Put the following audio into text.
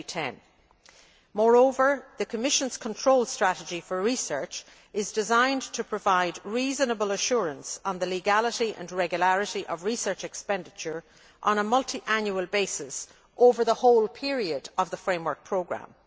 2010. Moreover, the Commission's control strategy for research is designed to provide reasonable assurance on the legality and regularity of research expenditure on a multiannual basis over the whole period of the Framework Programme.